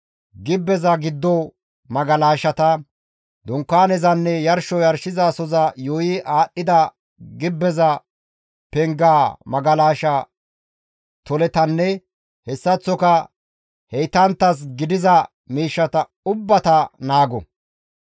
Gibbeza giddo magalashata, Dunkaanezanne yarsho yarshizasoza yuuyi aadhdhida gibbeza pengaa magalasha toletanne hessaththoka heytanttas gidiza miishshata ubbata naago.